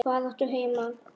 Og hvar áttu heima?